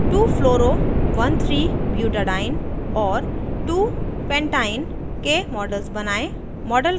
# 2fluoro13butadiene और 2pentyne के models बनायें